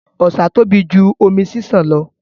Ọ̀sà tóbi jù omi ṣiṣan lọ.